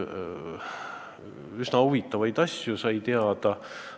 Üsna huvitavaid asju sai teada.